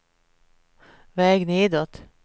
väg nedåt